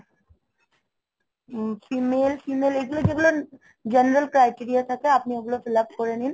উম female~ female এগুলো যেগুলো general criteria থাকে, আপনি ওগুলো fill up করে নিন